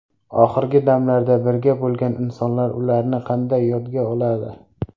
Oxirgi damlarda birga bo‘lgan insonlar ularni qanday yodga oladi?